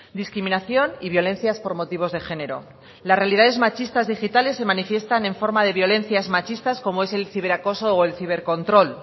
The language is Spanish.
discriminación y violencias por motivos de género las realidades machistas digitales se manifiestan en forma de violencias machistas como es el ciberacoso o el cibercontrol